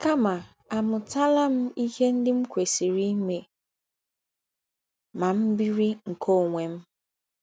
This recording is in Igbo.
kama àmụtala m ihe ndị m kwesịrị ime ma m biri nke ọnwe m?